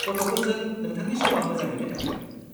गथ'फोरजों नोंथांनि समा मोजाङैनो थांथों।